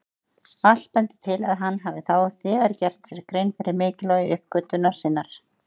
Allt bendir til að hann hafi þá þegar gert sér grein fyrir mikilvægi uppgötvunar sinnar.